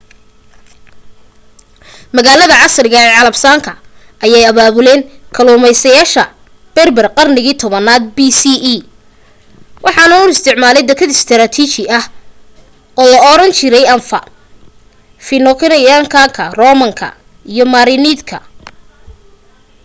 magaalada casriga ee casablanca ayee abaabuleen kalluumeysteyaal berber qarniga 10aaad bce waxaana u isticmaalay dakad istraatiiji ah oo laoran jiray anfa phoenician-ka roman-ka iyo merenid-ka